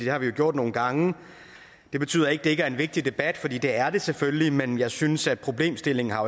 har vi gjort nogle gange det betyder ikke at det ikke er en vigtig debat for det er det selvfølgelig men jeg synes ikke at problemstillingen har